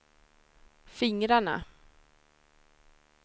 fingrarna